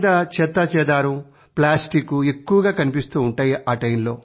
రోడ్లపై చెత్తాచెదారం ప్లాస్టిక్ ఎక్కువగా కనిపిస్తూ ఉంటాయి